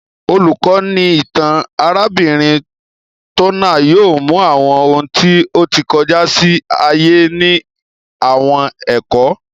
Olukọni itan arabinrin Turner yóò mú awọn òun ti o tí kọjá sí ayé ni àwọn ẹkọ